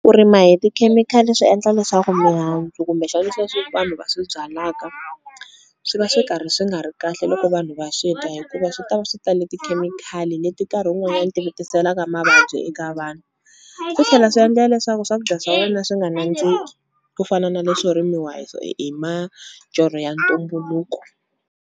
Ku rima hi tikhemikhali swi endla leswaku mihandzu kumbexani sweswi vanhu va swi byalaka, swi va swi karhi swi nga ri kahle loko vanhu va swi dya hikuva swi ta swi tale tikhemikhali leti nkarhi wun'wana ti mi tiselaka mavabyi eka vanhu. Ku tlhela swi yendla leswaku swakudya swa wena swi nga nandziki ku fana na leswo rimiwa hi majorho ya ntumbuluko.